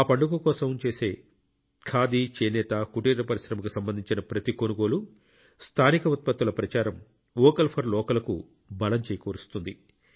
ఆ పండుగ కోసం చేసే ఖాదీ చేనేత కుటీర పరిశ్రమకు సంబంధించిన ప్రతి కొనుగోలు స్థానిక ఉత్పత్తుల ప్రచారం ఓకల్ ఫర్ లోకల్ కు బలం చేకూరుస్తుంది